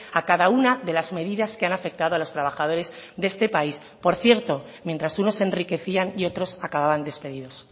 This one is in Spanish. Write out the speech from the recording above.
a cada una de las medidas que han afectado a los trabajadores de este país por cierto mientras unos se enriquecían y otros acababan despedidos